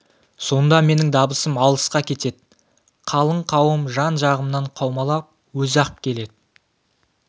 сонда менің дабысым алысқа кетед қалың қауым жан-жағымнан қаумалап өзі-ақ келед